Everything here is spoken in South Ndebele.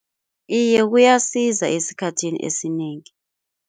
Iye kuyasiza esikhathini esinengi.